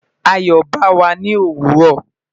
Ayo ba wa ni owuro